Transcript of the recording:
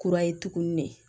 Kura ye tuguni de